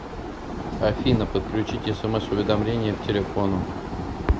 афина подключите смс уведомления к телефону